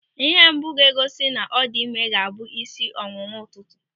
Ịhe mbụ ga-egosi na ọ dị ịme ga-abụ isi ọwụwa ụtụtụ.